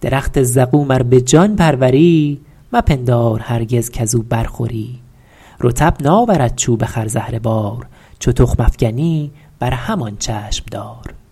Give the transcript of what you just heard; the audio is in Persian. درخت زقوم ار به جان پروری مپندار هرگز کز او بر خوری رطب ناورد چوب خرزهره بار چو تخم افکنی بر همان چشم دار